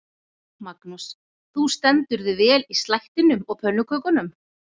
Magnús: Þú stendur þig vel í slættinum og pönnukökunum?